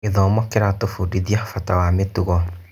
Gĩthomo kĩratũbundithia bata wa mĩtugo.